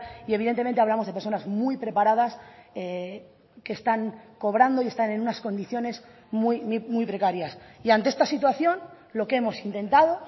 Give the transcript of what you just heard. y evidentemente hablamos de personas muy preparadas que están cobrando y están en unas condiciones muy precarias y ante esta situación lo que hemos intentado